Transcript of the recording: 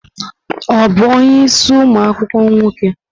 Ọ bụ onye isii umu akwukwuo nwoke?